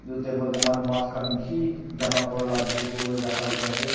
aru table teh moihan maans khan bishi jama kurila bikri kuribole rakha likha ase.